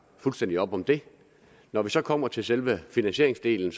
fuldstændig op om det når vi så kommer til selve finansieringsdelen